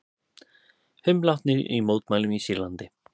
Fimm látnir í mótmælum í Sýrlandi